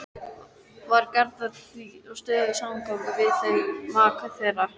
Var Gerður því í stöðugum samgangi við þau, maka þeirra